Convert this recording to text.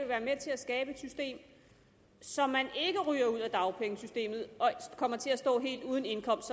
være med til at skabe et system så man ikke ryger ud af dagpengesystemet og kommer til at stå helt uden indkomst